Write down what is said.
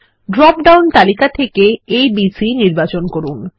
drop down তালিকা থেকে a b c নির্বাচন করুন